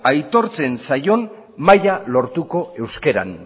aitortzen zaion maila lortuko euskeran